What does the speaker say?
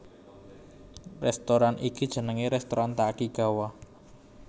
Rèstoran iki jenengé rèstoran Takigawa